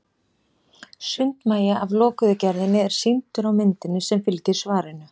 Sundmagi af lokuðu gerðinni er sýndur á myndinni sem fylgir svarinu.